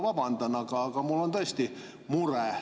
Ma väga vabandan, aga mul on tõesti mure.